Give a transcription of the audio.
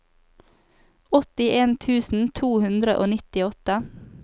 åttien tusen to hundre og nittiåtte